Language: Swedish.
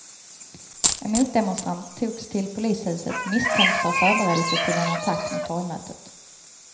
En motdemonstrant togs till polishuset misstänkt för förberedelse till en attack mot torgmötet.